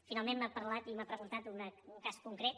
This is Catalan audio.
finalment m’ha parlat i m’ha preguntat un cas concret